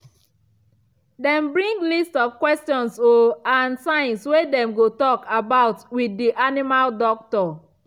them bring list of questions o and signs wey dem go talk about with the animal doctor